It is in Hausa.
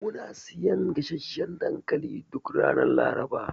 Muna siyan gasasshan dankali duk ranar Laraba.